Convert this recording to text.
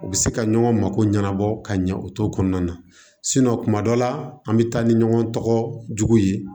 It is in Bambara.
U bɛ se ka ɲɔgɔn mako ɲɛnabɔ ka ɲɛ u t'o kɔnɔna na kuma dɔ la an bɛ taa ni ɲɔgɔn jugu ye